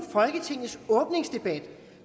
folketingets åbningsdebat